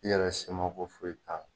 I yɛrɛ se ma ko foyi t'a la.